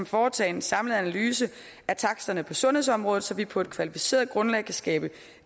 foretage en samlet analyse af taksterne på sundhedsområdet så vi på et kvalificeret grundlag kan skabe